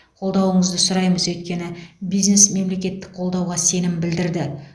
қолдауыңызды сұраймыз өйткені бизнес мемлекеттік қолдауға сенім білдірді